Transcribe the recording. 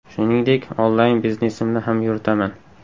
Shuningdek, onlayn biznesimni ham yuritaman.